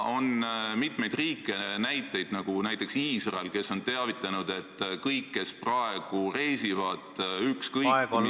On mitmeid riike, näiteks Iisrael, kes on teavitanud, et kõik, kes praegu reisivad ükskõik mis suunas ...